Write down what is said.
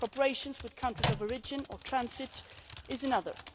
Cooperation with countries of origin or transit is another.